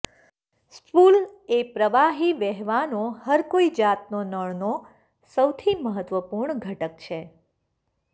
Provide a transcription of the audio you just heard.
spool એ પ્રવાહી વહેવાનો હરકોઈ જાતનો નળનો સૌથી મહત્વપૂર્ણ ઘટક છે